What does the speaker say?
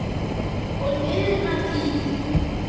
Og liðna tíð.